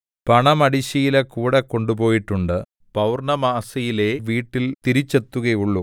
പണമടിശ്ശീല കൂടെ കൊണ്ടുപോയിട്ടുണ്ട് പൗർണ്ണമാസിയിലേ വീട്ടിൽ തിരിച്ചെത്തുകയുള്ളു